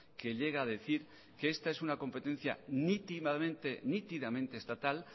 que llega a decir que esta es una competencia nítidamente estatal